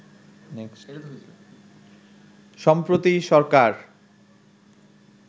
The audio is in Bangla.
সম্প্রতি সরকার